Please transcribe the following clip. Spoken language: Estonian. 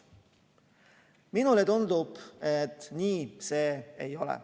Minule tundub, et nii see ei ole.